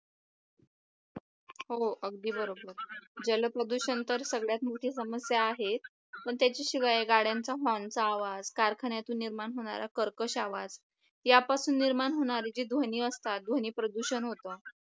हो अगदी बरोबर जलप्रदूषण तर सगळ्यात मोठी समस्या आहेत पण त्याच्याशिवाय गाड्यांचा horn चा आवाज कारखान्यातून निर्माण होणारा कर्कश आवाज यापासून निर्माण होणारे ध्वनी असतात ध्वनी प्रदूषण होतं